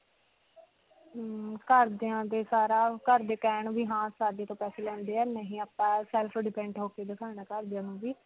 ਹਮਮ ਘਰਦਿਆਂ ਦੇ ਸਾਰਾ. ਘਰ ਦੇ ਕਹਿਣ ਵੀ ਹਾਂ ਸਾਡੇ ਤੋਂ ਪੈਸੇ ਲੈਂਦੇ ਹੈ. ਨਹੀਂ ਆਪਾਂ self-independent ਹੋ ਕੇ ਦਿਖਨਾ ਹੈ ਘਰ ਦੀਆਂ ਨੂੰ ਵੀ.